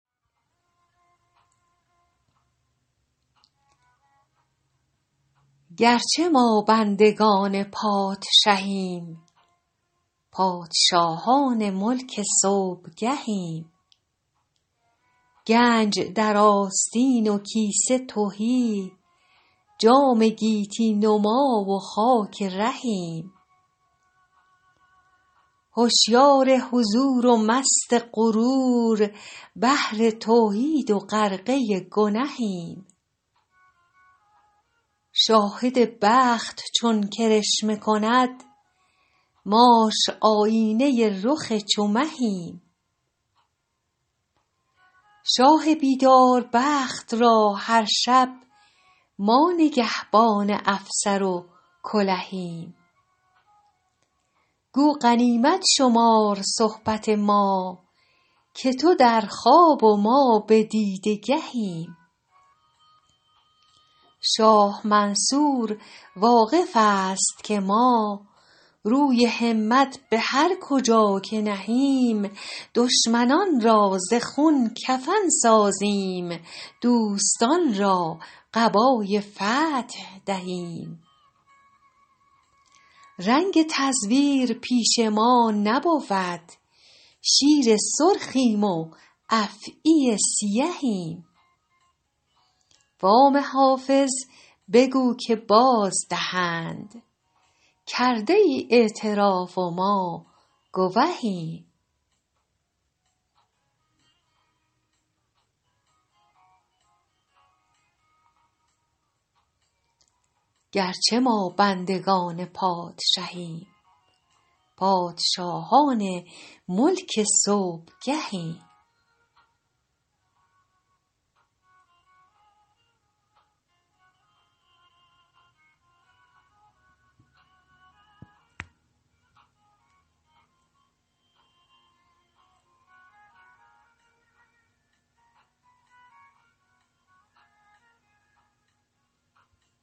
گرچه ما بندگان پادشهیم پادشاهان ملک صبحگهیم گنج در آستین و کیسه تهی جام گیتی نما و خاک رهیم هوشیار حضور و مست غرور بحر توحید و غرقه گنهیم شاهد بخت چون کرشمه کند ماش آیینه رخ چو مهیم شاه بیدار بخت را هر شب ما نگهبان افسر و کلهیم گو غنیمت شمار صحبت ما که تو در خواب و ما به دیده گهیم شاه منصور واقف است که ما روی همت به هر کجا که نهیم دشمنان را ز خون کفن سازیم دوستان را قبای فتح دهیم رنگ تزویر پیش ما نبود شیر سرخیم و افعی سیهیم وام حافظ بگو که بازدهند کرده ای اعتراف و ما گوهیم